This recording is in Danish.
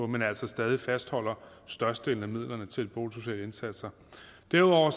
men altså stadig fastholder størstedelen af midlerne til boligsociale indsatser derudover